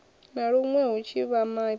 na luṅwe hu na ḓivhamaipfi